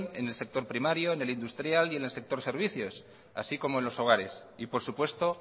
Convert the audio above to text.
en el sector primario en el industrial y en el sector servicios así como en los hogares y por supuesto